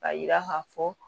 Ka yira ka fɔ